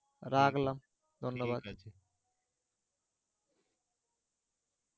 রাখলাম ধন্যবাদ ঠিকাছে